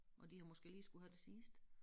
Og de har måske lige skullet have det sidste